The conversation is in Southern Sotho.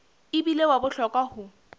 e bile wa bohlokwa ho